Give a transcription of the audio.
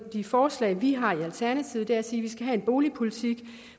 af de forslag vi har i alternativet er at sige at vi skal have en boligpolitik